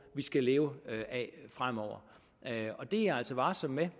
vi skal leve af fremover det er jeg altså varsom med